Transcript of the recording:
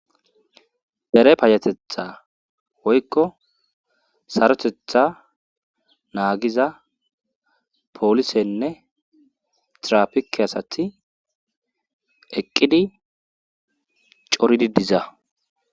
Dere payatetha woykko sarotetha naagiza poolisenne trapike asati eqqidi coridi diza